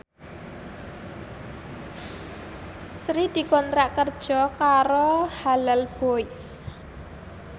Sri dikontrak kerja karo Halal Boys